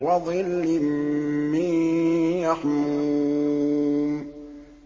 وَظِلٍّ مِّن يَحْمُومٍ